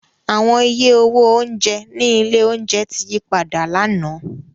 Awọn iye owo ounjẹ ni ile ounjẹ ti yipada làná.